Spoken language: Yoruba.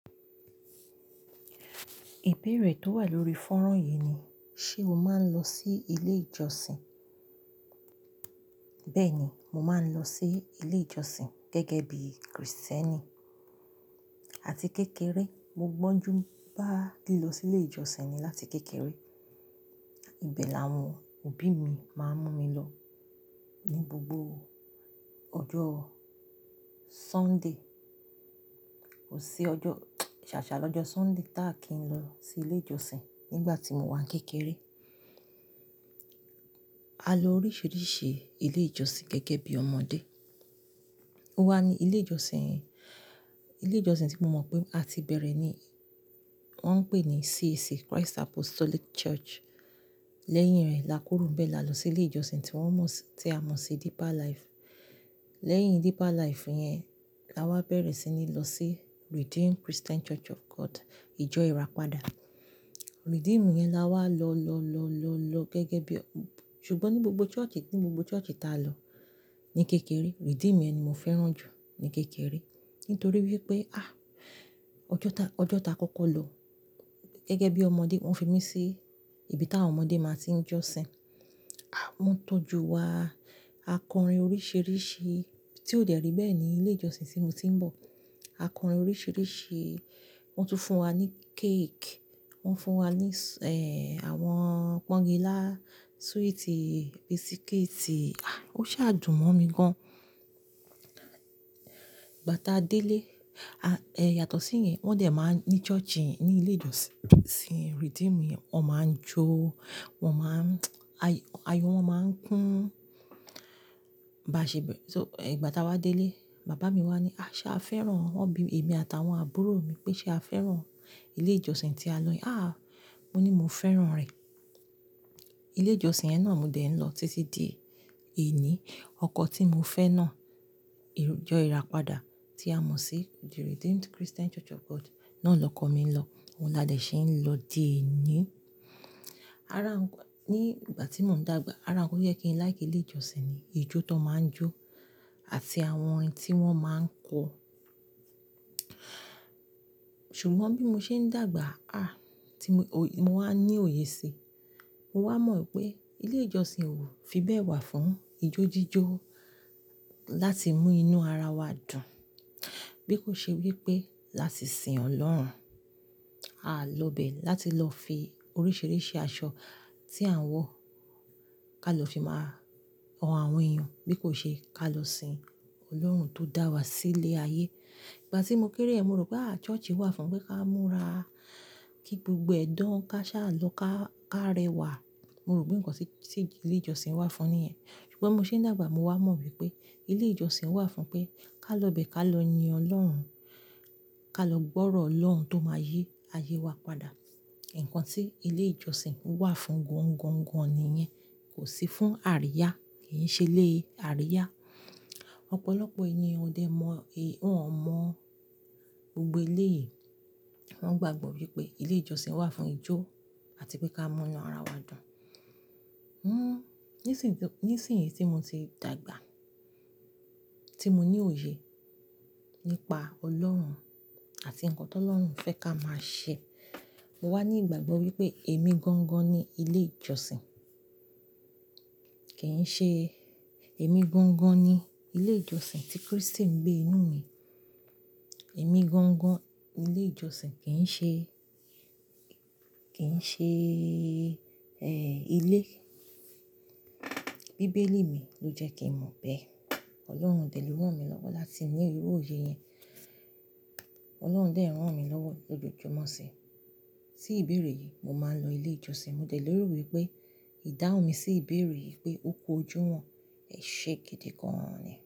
Ìbéèrè tó wà lórí fọ́rán yìí ni, ṣe o máa ń lọ sí ilé ìjọsìn? Bẹ́ẹ̀ ni, mo máa ń lọ sí ilé ìjọsìn gẹ́gẹ́ bí Krìstẹ́nì. Àti kékeré, mo gbọ́njú bá lè lọ sí ilé ìjọsìn ni láti kékeré. Ìbẹ́ l'àwọn òbí mi máa ń mú mi lọ ní gbogbo ọjọ́ Sunday. Kò sí ọjọ́, ṣàṣà lọ́jọ́ Sunday táà kí n lọ sí ilé ìjọsìn nígbà tí mo wà ní kékeré. A lọ oríṣiríṣi ilé ìjọsìn gẹ́gẹ́ bí ọmọdé. Wa ni ilé ìjọsìn, ilé ìjọsìn tí mo mọ̀ pé a ti bẹ̀rẹ̀ ni wọ́n ń pè ní CAC, Christ Apostolic Church. Lẹ́yìn rẹ̀ lakúró ńbẹ́ là lọ sí ilé ìjọsìn tí wọ́n mọ̀, tí a mọ̀ sí Deeper Life. Lẹ́yìn Deeper Life yẹn, la wá bẹ̀rẹ̀ sí ní lọ sí Redeemed Christian Church of God. Ìjọ Ìràpadà. Redeemed yẹn la wá lọ, lọ, lọ, lọ, lọ gẹ́gẹ́ bí, ṣùgbọ́n ní gbogbo church, ní gbogbo church tí a lọ ní kékeré, Redeemed yẹn ni mo fẹ́ràn jù ní kékeré. Nítorí wípé, ọjọ́ tá, ọjọ́ tá kọ́kọ́ lọ gẹ́gẹ́ bí ọmọdé, wọ́n fi mí sí ibi táwọn ọmọdé máa tí ń jọ́sìn. Aah, wọ́n tọ́jú wa akọrin oríṣiríṣi tí ó dè rí bẹ́ẹ̀ ní ilé ìjọsìn tí mo ti ń bọ̀. Akọrin oríṣiríṣi, wọ́n tún fún wa ní cake, wọ́n fún wa ní, àwọn pọ́ńgilá, sweetie, biscuit. Ó ṣe àdùn mọ́ mi gan. Ìgbà tá a dé ilé, yàtọ̀ sí yẹn, wọ́n dẹ̀ máa ń ní church, ní ilé ìjọsìn Redeemed yẹn, wọ́n máa ń jó, wọ́n máa ń, ayọ̀ wọn máa ń kún. Bàá ṣe bẹ́, so, ẹ̀, ìgbà tá a wá dé ilé, bàbá mi wá ní, "ṣé a fẹ́ràn?" Wọ́n bi èmi àt'àwọn àbúrò mi pé ṣe a fẹ́ràn ilé ìjọsìn tí a lọ yẹn. Mo ní mo fẹ́ràn rẹ̀. Ilé ìjọsìn yẹn náà mo dẹ̀ ń lọ títí di òní. Ọkọ̀ tí mo fẹ́ náà, Ìrù, Ìjọ Ìràpadà tí a mọ̀ sí the Redeemed Christian Church of God náà lọ kọ mí lọ. Ó là dẹ̀ ṣe ń lọ di òní. Ará wọn, ní ìgbà tí mò ń dàgbà, ará wọn yẹ kí n láì kí ilé ìjọsìn ni ijó tó máa ń jó àti àwọn ohun tí wọ́n máa ń kọ. Ṣùgbọ́n bí mo ṣe ń dàgbà, ah, tí mo, mo wá ní òye sí i, mo wá mọ̀ wípé ilé ìjọsìn ò fi bẹ́ẹ̀ wà fún ijó jíjó láti mú inú ara wa dùn. Bí kò ṣe wípé láti sin Ọlọ́run. A lọ bẹ̀ láti lọ fi oríṣiríṣi aṣọ tí à ń wọ̀ ká lọ fi máa han àwọn èèyàn. Bí kò ṣe ká lọ sin Ọlọ́run tó dá wa sí ilé ayé. Ìgbà tí mo kéré, èmi rò pé ah church wà fún pé ká múra, kí gbogbo ẹ̀dán ká ṣá lọ ká, ká rẹwà. Mo rò pé nǹkan tí ilé ìjọsìn wà fún níyẹ́n. Ṣùgbọ́n mo ṣe ń dàgbà, mo wá mọ̀ wípé ilé ìjọsìn wà fún pé ká lọ bẹ́, ká lọ yin Ọlọ́run, ká lọ gbọ́rọ̀ Ọlọ́run tó máa yí ayé wa padà. Ǹǹkan tí ilé ìjọsìn wà fún gań-gań-gań ni yẹn. Kò sí fún àríyá, kì í ṣe ilé àríyá. Ọ̀pọ̀lọpọ̀ èèyàn ò dẹ mọ̀, wọ́n ò mọ̀ gbogbo ilé yìí. Wọ́n gbàgbọ́ wípé ilé ìjọsìn wà fún ijó àti pé ká mọ́ inú ara wa dùn. Nísìyí, nísìyíh tí mo ti dàgbà, tí mo ní òye nípa Ọlọ́run àti ǹkan tó Ọlọ́run fẹ́ ká máa ṣe, mo wá ní ìgbàgbọ́ wípé èmi gań-gan ni ilé ìjọsìn. Kì í ṣe, èmi gań-gan ni ilé ìjọsìn tí Krístì ń gbé inú mi. Èmi gọ̀ń-gọ̀n, ilé ìjọsìn kì í ṣe, kì í ṣe, ẹ́, ilé. Bíbélì mi ló jẹ́ kí n mọ̀ bẹ́ẹ̀. Ọlọ́run dẹ̀ ló rán mi lọ́wọ́ láti ní irú òye yẹn. Ọlọ́run dẹ̀ ń rán mi lọ́wọ́ lójoojúmọ́ sí i. Sí ìbéèrè yìí mo máa ń lọ ilé ìjọsìn. Mo dẹ̀ lérò wípé ìdáhùn mi sí ìbéèrè yìí pé ó kú ojú wọn, èṣe gidigan ni.